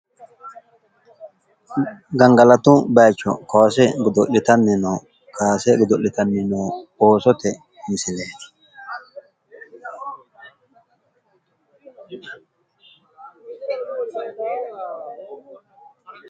gangalatu bayicho kaase godo'litanni noo kaasa go godo'litanni no oosote misileeti.